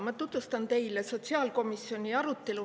Ma tutvustan teile sotsiaalkomisjoni arutelu.